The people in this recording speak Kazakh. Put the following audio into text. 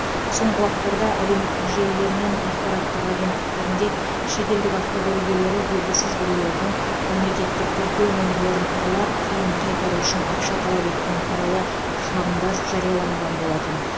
соңғы уақыттарда әлеуметтік желілер мен ақпараттық агенттіктерінде шетелдік автокөлік иелері белгісіз біреулердің мемлекеттік тіркеу нөмірлерін ұрлап кейін қайтару үшін ақша талап еткені туралы шағымдар жарияланған болатын